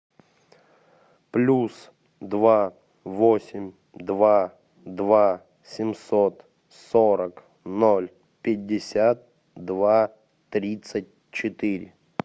плюс два восемь два два семьсот сорок ноль пятьдесят два тридцать четыре